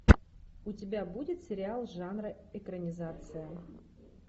у тебя будет сериал жанра экранизация